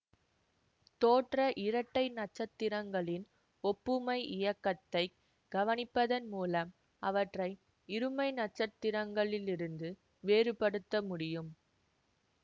தோற்ற இரட்டை நட்சத்திரங்களின் ஒப்புமை இயக்கத்தை கவனிப்பதன் மூலம் அவற்றை இருமை நட்சத்திரங்களில் இருந்து வேறுபடுத்த முடியும்